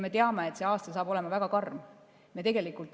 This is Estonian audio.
Me teame, et see aasta saab olema väga karm.